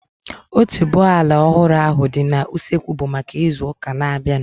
Otuboala ọhụrụ ahu dị n'usekwu bụ maka ịzụ ụka na-abianu